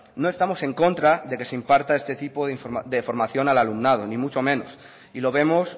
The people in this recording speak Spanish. no estamos en contra de que se imparta esta tipo de formación al alumnado ni mucho menos y lo vemos